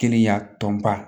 Kiliya tɔnba